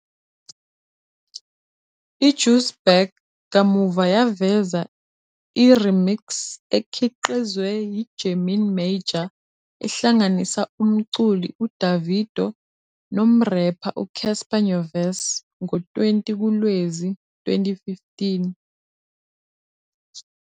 I-"Juice Back" kamuva yaveza i-remix ekhiqizwe yi- Gemini Major ehlanganisa umculi uDavido nomrepha uCassper Nyovest ngo-20 kuLwezi 2015.